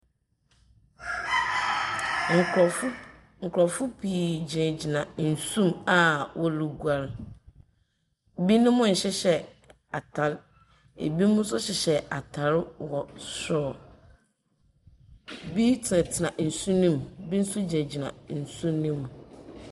Nkorɔfo…nkorɔfo pii gyinagyina nsu mu a wɔroguar. Binom nhyehyɛ atar. Binom nso hyehyɛ atar wɔ sor. Bi tsenatsena nsu no mu, bi nsu gyinagyina nsu no mu.